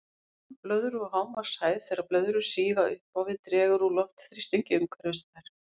Þan blöðru og hámarkshæð Þegar blöðrur stíga upp á við dregur úr loftþrýstingi umhverfis þær.